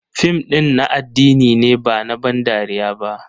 Fim ɗin na addini ne ba na ban dariya ba.